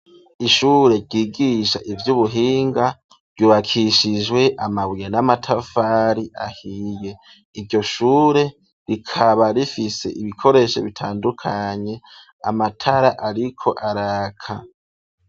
Ishure ryigisha ivy'ubuhinga ryubakishijwe amabuye n'amatafari ahiye iryo shure rikaba rifise ibikoresho bitandukanye amatara ariko araka.